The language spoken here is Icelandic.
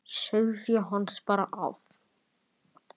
Sauðfé hans bar af.